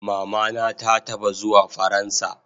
Mama na ta taba zuwa faransa